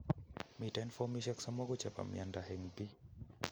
Miten fomisiek somoku chebo miondo eng' biik